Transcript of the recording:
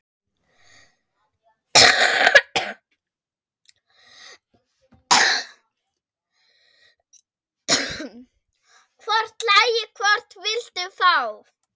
Hvort lagið, hvort viltu fá?